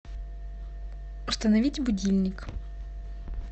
установить будильник